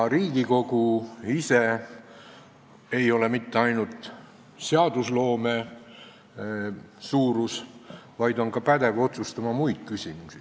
Riigikogu ei ole mitte ainult seadusloome suurus, vaid on pädev otsustama ka muid küsimusi.